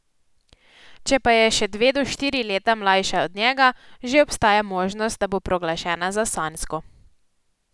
Če pa je še dve do štiri leta mlajša od njega, že obstaja možnost, da bo proglašena za sanjsko.